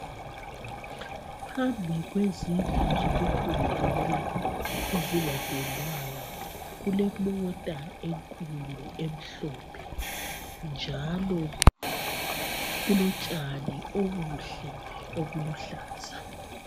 Phambi kwezindlu zokufundela ezingapendwanga kulemota enkulu emhlophe njalo kulotshani obuhle obuluhlaza .